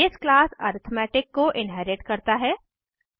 यह base class arithmetic को inherit करता है